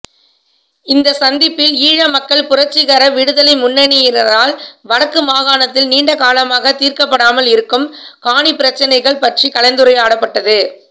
இந்த சந்திப்பில் ஈழமக்கள் புரட்சிகர விடுதலை முன்னணியினரால் வடக்குமாகாணத்தில் நீண்டகாலமாக தீர்க்கப்படாமல் இருக்கும் காணிப்பிரச்சினைகள் பற்றி கலந்துரையாடப்பட்டது